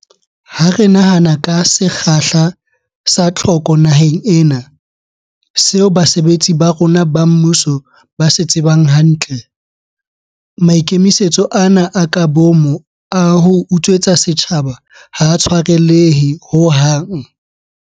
Ha re nahana ka sekgahla sa tlhoko naheng ena, seo basebetsi ba rona ba mmuso ba se tsebang hantle, maikemisetso ana a ka boomo a ho utswetsa setjhaba ha a tshwarelehe ho hang.